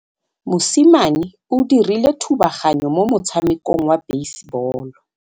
Mosimane o dirile thubaganyô mo motshamekong wa basebôlô.